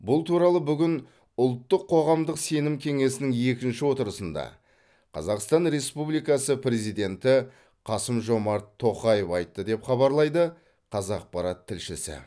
бұл туралы бүгін ұлттық қоғамдық сенім кеңесінің екінші отырысында қазақстан республикасы президенті қасым жомарт тоқаев айтты деп хабарлайды қазақпарат тілшісі